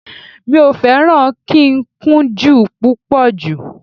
Mi ò fẹ́ràn kíkúnjú púpọ̀ jù